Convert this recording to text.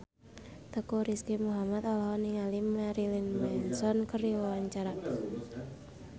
Teuku Rizky Muhammad olohok ningali Marilyn Manson keur diwawancara